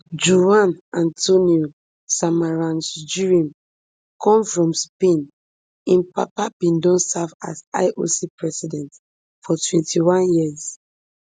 juan antonio samaranch jrim come from spain im papa bin don serve as ioc president for twenty-one years